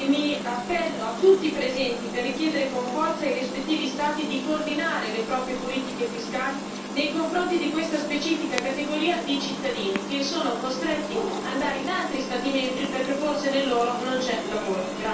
Mi appello a tutti i presenti per richiedere con forza ai rispettivi Stati di coordinare le proprie politiche fiscali nei confronti di questa specifica categoria di cittadini che sono costretti a trasferirsi in altri Stati membri perché forse nel loro non c'è lavoro.